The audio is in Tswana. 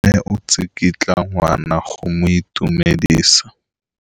Mme o tsikitla ngwana go mo itumedisa.